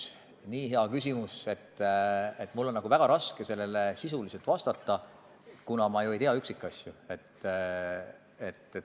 See on nii hea küsimus, et mul on väga raske sellele sisuliselt vastata, kuna ma ju ei tea üksikasju.